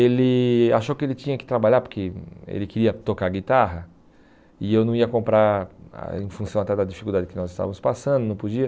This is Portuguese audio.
Ele achou que ele tinha que trabalhar porque ele queria tocar guitarra e eu não ia comprar ah em função até da dificuldade que nós estávamos passando, não podia.